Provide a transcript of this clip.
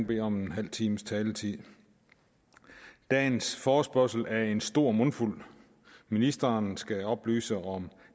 bede om en halv times taletid dagens forespørgsel er en stor mundfuld ministeren skal oplyse om